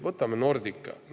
Võtame Nordica.